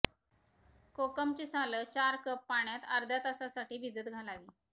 कोकमाची सालं चार कप पाण्यात अध्र्या तासासाठी भिजत घालावी